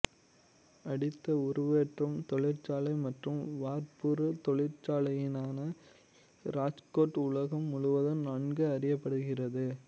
அடித்து உருவேற்றும் தொழிற்சாலை மற்றும் வார்ப்புரு தொழிற்சாலையினால் ராஜ்கோட் உலகம் முழுவதும் நன்கு அறியப்படுகிறது